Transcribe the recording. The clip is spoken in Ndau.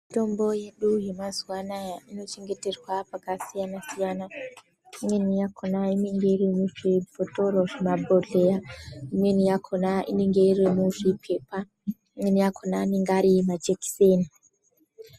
Mitombo yedu yemazuwa anaa inochengeterwa pakasiyana siyana. Imweni yakhona inenge iri muzvibhothoro, zvimabhodhleya. Imweni yakhona inenge iri muzvipepa. Imweni yakhona anenge ari majekiseni.